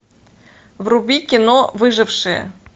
вруби кино выжившие